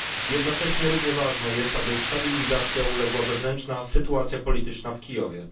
Jednocześnie równie ważne jest, aby stabilizacji uległa wewnętrzna sytuacja polityczna w Kijowie.